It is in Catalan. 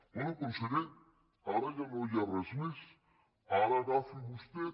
bé conseller ara ja no hi res més ara agafi vostè